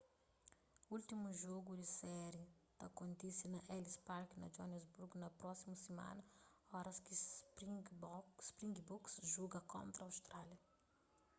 últimu jogu di séri ta kontise na ellis park na joanesburgo na prósimu simana oras ki springboks juga kontra austrália